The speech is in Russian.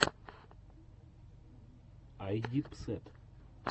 айдипсэд